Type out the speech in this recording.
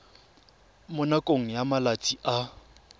mo nakong ya malatsi a